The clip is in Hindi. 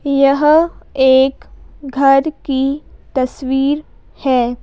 यह एक घर की तस्वीर है।